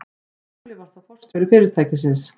Skúli var þá forstjóri fyrirtækisins.